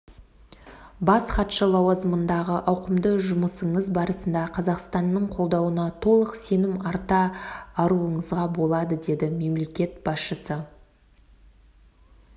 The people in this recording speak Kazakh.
бас хатшы лауазымындағы ауқымды жұмысыңыз барысында қазақстанның қолдауына толық сенім арта аруыңызға болады деді мемлекет басшысы